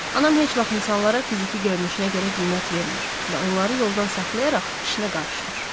Anam heç vaxt insanlara fiziki görünüşünə görə qiymət vermir və onları yoldan saxlayaraq işinə qarışmır.